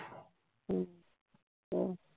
ਆਹ